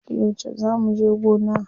Yauce zaa muje gona?